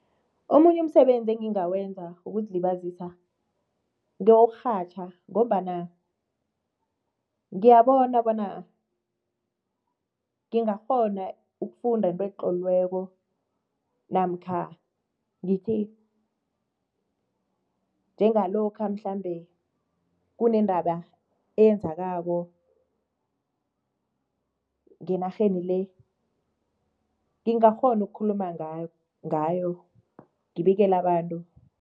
Omunye umsebenzi elingawenza wokuzilibazisa, ngewokurhatjha ngombana ngiyabona bona ngingakghona ukufunda into etloliweko namkha ngithi njengalokha mhlambe kunendaba eyenzakako ngenarheni le, ngingakghona ukukhuluma ngayo ngibikele abantu.